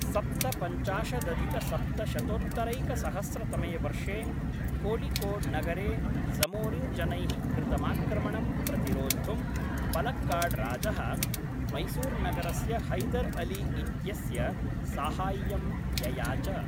सप्तपञ्चाशदधिकसप्तशतोत्तरैकसहस्रतमे वर्षे कोळिकोड्नगरे जमोरिन्जनैः कृतमाक्रमणं प्रतिरोद्धुं पलक्कडराजः मैसूर्नगरस्य हैदर् अली इत्यस्य साहाय्यं ययाच।